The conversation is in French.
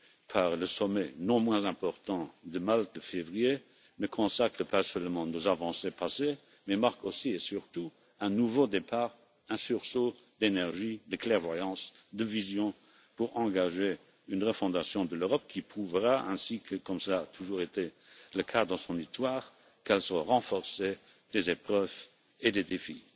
par le sommet non moins important de Malte de février, ne consacrent pas seulement nos avancées passées mais marquent aussi et surtout un nouveau départ, un sursaut d'énergie, de clairvoyance, de vision pour engager une refondation de l'Europe qui prouvera ainsi que, comme cela a toujours été le cas dans son histoire, qu'elle sort renforcée des épreuves et des défis.